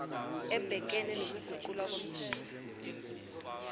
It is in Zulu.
ebhekene nokuguqulwa komthetho